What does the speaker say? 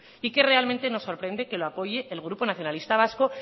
y que realmente nos sorprende que lo apoye el grupo nacionalista vasco